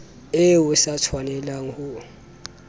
eo o sa tshwanelang ho